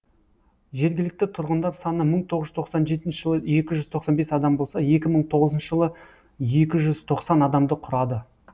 жергілікті тұрғындар саны мың тоғыз жүз тоқсан жетінші жылы екі жүз тоқсан бес адам болса екі мың тоғызыншы жылы екі жүз тоқсан адамды құрады